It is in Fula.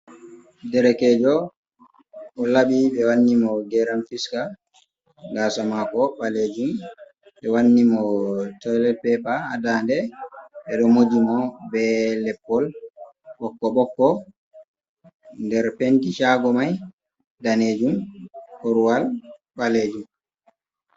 Derekejo o laɓi ɓe wanni mo geram fisca ,gasa mako ɓalejum ɓe wanni mo toilet peper ha ɗan de ɗe mako ɓe ɗo moji mo ɓe leppol ɓokko ɓokko ,ɗer penti shago mai ɗanejum korowal ɓalejum.